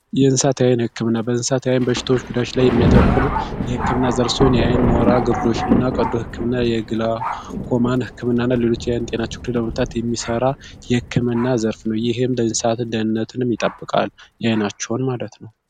የእንስሳት የአይን ሕክምና በእንስሳት ዓይን በሽታዎች ጉዳዎች ላይ የሚያተኩር የሕክምና ዘርፍ ሲሆን የአይን ሞራ ግርዶችን እና ቀዶ ሕክምና፣ የግላኮማን ሕክምና እና ሌሎች የአይን ጤና ችግሮችን ለመፍታት የሚሠራ የሕክምና ዘርፍ ነው። ይህም የእንሳት ደህነትንም ይጠብቃል፤ የአይናቸውን ማለት ነው።